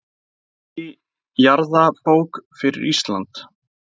Ný jarðabók fyrir Ísland.